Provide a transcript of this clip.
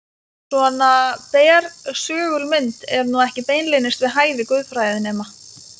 Svona bersögul mynd er nú ekki beinlínis við hæfi guðfræðinema.